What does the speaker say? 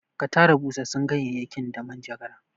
Ka tara busassun ganyayyakin da manjagara!